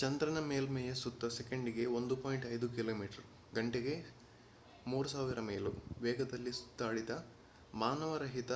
ಚಂದ್ರನ ಮೇಲ್ಮೆಯ ಸುತ್ತ ಸೆಕೆಂಡಿಗೆ 1.5 ಕಿಮಿಗಂಟೆಗೆ 3000 ಮೈಲು ವೇಗದಲ್ಲಿ ಸುತ್ತಾಡಿದ ಮಾನವರಹಿತ